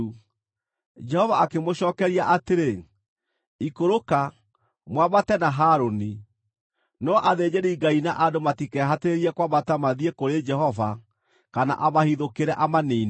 Jehova akĩmũcookeria atĩrĩ, “Ikũrũka, mwambate na Harũni. No athĩnjĩri-Ngai na andũ matikehatĩrĩrie kwambata mathiĩ kũrĩ Jehova kana amahithũkĩre amaniine.”